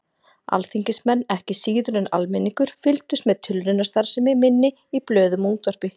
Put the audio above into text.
Alþingismenn, ekki síður en almenningur, fylgdust með tilraunastarfsemi minni í blöðum og útvarpi.